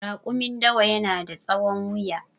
Rakumin dawa yana da tsahon wuya